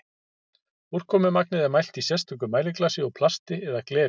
úrkomumagnið er mælt í sérstöku mæliglasi úr plasti eða gleri